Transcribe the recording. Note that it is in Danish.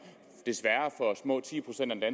desværre for små ti procent af